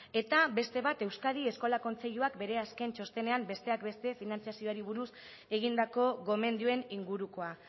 eta beste bat euskadi eskola kontseiluak bere azken txostenean besteak beste finantzazioari buruz egindako gomendioen ingurukoa